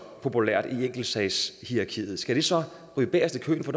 populært i enkeltsagshierarkiet skal det så ryge bagest i køen for